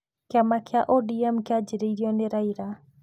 Kĩama kĩa ODM kĩanjĩrĩirio nĩ Raila.